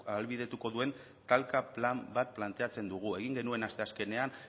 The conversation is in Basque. ahalbideratuko duen talka plan bat planteatzen dugu egin genuen asteazkenean